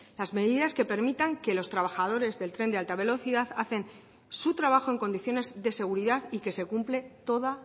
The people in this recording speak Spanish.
las medidas que permitan que los trabajadores del tren de alta velocidad hacen su trabajo en condiciones de seguridad y que se cumple toda